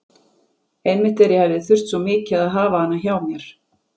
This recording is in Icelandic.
Einmitt þegar ég hefði þurft svo mikið að hafa hana hjá mér.